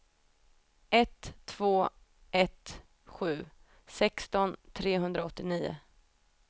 ett två ett sju sexton trehundraåttionio